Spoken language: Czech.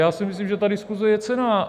Já si myslím, že ta diskuse je cenná.